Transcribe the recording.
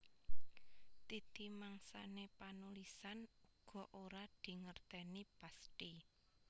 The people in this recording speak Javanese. Titi mangsané panulisan uga ora dingertèni pasthi